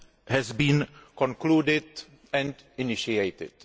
has been concluded and initiated.